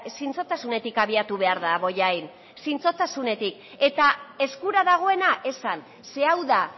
zintzotasunetik abiatu behar da bollain zintzotasunetik eta eskura dagoena esan ze hau da